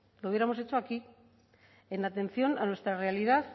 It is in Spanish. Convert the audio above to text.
lo hubiéramos hecho aquí en atención a nuestra realidad